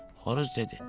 Xoruz dedi.